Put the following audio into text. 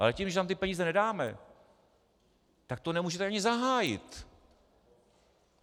Ale tím, že tam ty peníze nedáme, tak to nemůžete ani zahájit.